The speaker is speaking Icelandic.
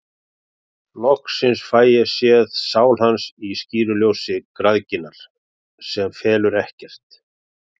Loksins fæ ég séð sál hans í skýru ljósi græðginnar, sem felur ekkert.